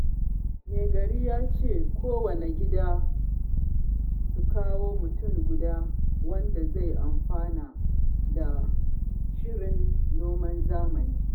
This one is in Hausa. Mai gari ya ce, kowanne gida su kawo mutum guda wanda zai amfana da shirin noman zamani